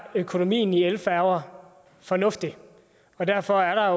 økonomien i elfærger fornuftig og derfor er